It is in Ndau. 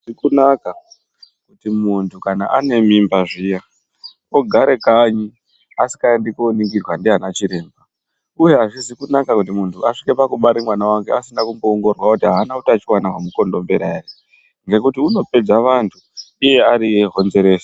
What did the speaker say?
Azvizikunaka kuti muntu kana ane mimba zviya ogare kanyi asingaendi koningirwa ndiana chiremba, uye hazvizi kunaka kuti muntu asvike pakubare mwana wake pasina kumboongororwa kuti haana utachiwana hwemukondombera ere, ngekuti unopedza vantu iye ariye honzeresi.